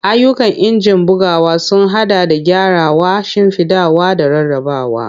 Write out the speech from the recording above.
Ayyukan injin bugawa sun haɗa da gyarawa, shimfiɗawa, da rarrabawa.